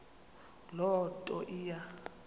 loo nto iya